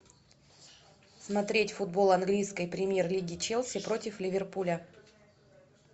смотреть футбол английской премьер лиги челси против ливерпуля